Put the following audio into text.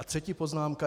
A třetí poznámka.